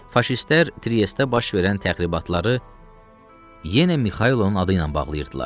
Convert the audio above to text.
Faşistlər Triestdə baş verən təxribatları yenə Mixailin adı ilə bağlıyırdılar.